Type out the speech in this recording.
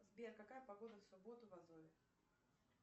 сбер какая погода в субботу в азове